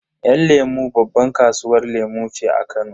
Yan lemu babban kasuwar lemu ce a Kano.